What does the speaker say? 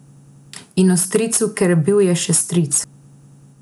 In o stricu, ker bil je še stric.